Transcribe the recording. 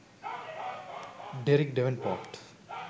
derrick davenport